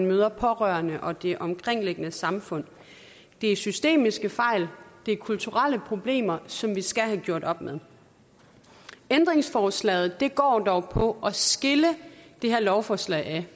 møder pårørende og det omkringliggende samfund det er systemiske fejl det er kulturelle problemer som vi skal have gjort op med ændringsforslaget går dog på at skille det her lovforslag ad